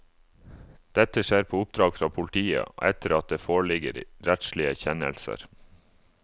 Dette skjer på oppdrag fra politiet, og etter at det foreligger rettslige kjennelser.